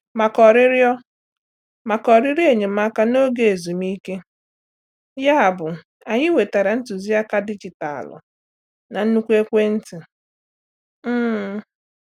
Makà órịọrọ Makà órịọrọ enyemaka n'oge ezumike, yabụ anyị nwetara ntuziaka dijitalụ na nnkwu ekwentị. um